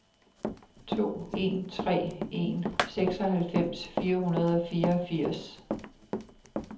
to en tre en seksoghalvfems fire hundrede og fireogfirs